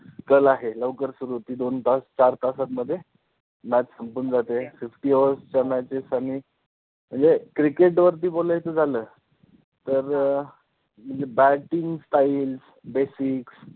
कल आहे. लवकर सुरु होते दोन तास चार तासांमध्ये match संपून जाते. Fifty overs च्या matches आणि म्हणजे cricket वरती बोलायचं झालं तर म्हणजे batting time basics